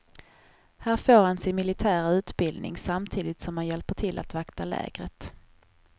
Här får han sin militära utbildning samtidigt som han hjälper till att vakta lägret.